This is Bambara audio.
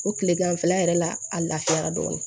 O kile ganfɛla yɛrɛ la a lafiyara dɔɔnin